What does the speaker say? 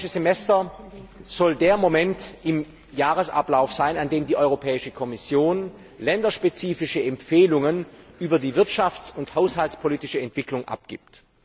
Das Europäische Semester soll der Moment im Jahresablauf sein, an dem die Europäische Kommission länderspezifische Empfehlungen über die wirtschafts und haushaltspolitische Entwicklung abgibt.